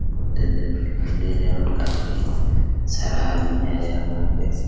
बुद्ध देव खड़े है और काफी सारा आदमी आया हुआ है देख सक --